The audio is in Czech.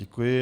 Děkuji.